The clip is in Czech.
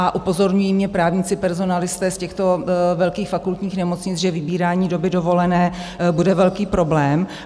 A upozorňují mě právníci, personalisté z těchto velkých fakultních nemocnic, že vybírání doby dovolené bude velký problém.